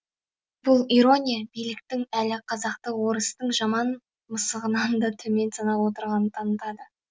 бұл ирония биліктің әлі қазақты орыстың жаман мысығынан да төмен санап отырғанын танытады